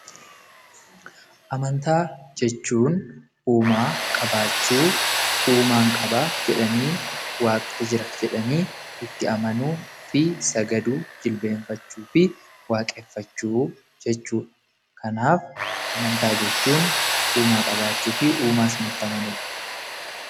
Amantaa jechuun uumaa qabaachuu, uumaan qaba jedhanii waaqni jira jedhanii itti amanuufi sagaduuf jilbeenfachuufi waaqeffachuu jechuudha. Kanaaf amantaa jechuun uumaa qabaachuufi uumaa sanatti amanudha.